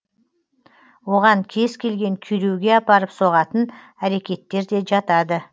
оған кез келген күйреуге апарып соғатын әрекеттер де жатады